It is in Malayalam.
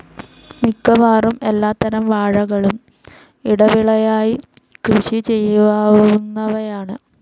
മിക്കവാറും എല്ലാത്തരം വാഴകളും ഇടവിളയായി കൃഷിചെയ്യാവുന്നവയാണ്.